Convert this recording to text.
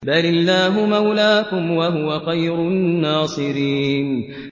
بَلِ اللَّهُ مَوْلَاكُمْ ۖ وَهُوَ خَيْرُ النَّاصِرِينَ